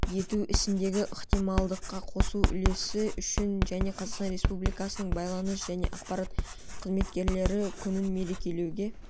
ету ісіндегі ынтымақтастыққа қосқан үлесі үшін және қазақстан республикасының байланыс және ақпарат қызметкерлері күнін мерекелеуге